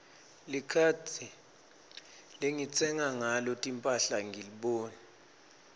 likhadi lengitsenga ngalo timphahla angiliboni